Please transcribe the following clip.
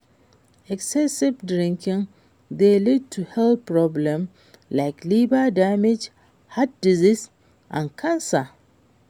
excessive drinking dey lead to health problems like liver damage, heart disease and cancer.